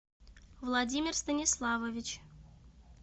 владимир станиславович